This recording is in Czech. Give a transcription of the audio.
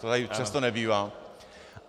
To tady často nebývá .